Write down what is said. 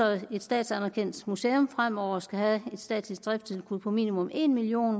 at et statsanerkendt museum fremover skal have et statsligt driftstilskud på minimum en million